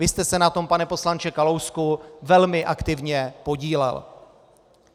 Vy jste se na tom, pane poslanče Kalousku, velmi aktivně podílel.